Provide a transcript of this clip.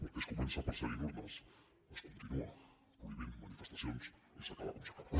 perquè es comença perseguint urnes es continua prohibint manifestacions i s’acaba com s’acaba